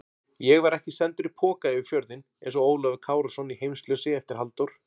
Ég var ekki sendur í poka yfir fjörðinn einsog Ólafur Kárason í Heimsljósi eftir Halldór